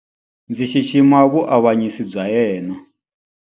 Ndzi xixima vuavanyisi bya yena.